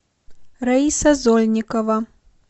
раиса зольникова